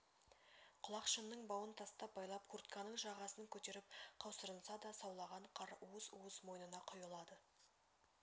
құлақшынның бауын тас байлап куртканың жағасын көтеріп қаусырынса да саулаған қар уыс-уыс мойнына құйылады